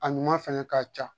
A ɲuman fɛnɛ ka ca